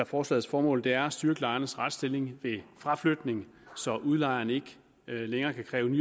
forslagets formål er at styrke lejernes retsstilling ved fraflytning så udlejerne ikke længere kan kræve